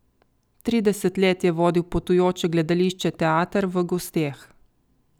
Trideset let je vodil potujoče gledališče Teater v gosteh.